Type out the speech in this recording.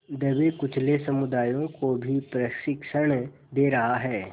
दबेकुचले समुदायों को भी प्रशिक्षण दे रहा है